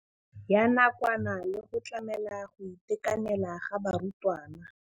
Ya nakwana le go tlamela go itekanela ga barutwana.